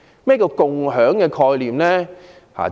何謂"共享"概念？